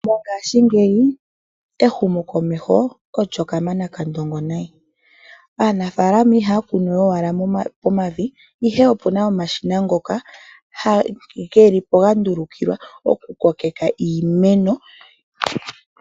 Mongaashingeyi ehumo komeho olyo kamana kandongo nayi. Aanafaalama ihaya kunu owala momavi ihe opuna omashina ngoka gelipo ga ndulukilwa oku kokeka iimeno.